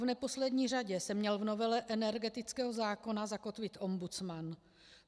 V neposlední řadě se měl v novele energetického zákona zakotvit ombudsman.